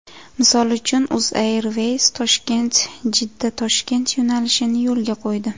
Misol uchun, UzAirways ToshkentJiddaToshkent yo‘nalishini yo‘lga qo‘ydi.